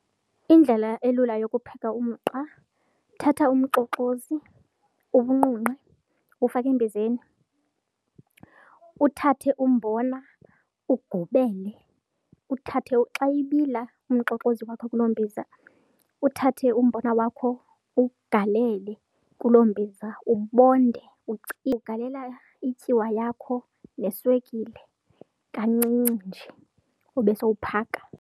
Indlela elula yokupheka umqa, thatha umxoxozi uwunqunqe uwufake embizeni, uthathe umbona ugubele, uthathe. Xa ibila umxoxozi wakho kuloo mbiza uthathe umbona wakho uwugalele kuloo mbiza ubonde , ugalele ityiwa yakho neswekile kancinci nje ube sowuphaka.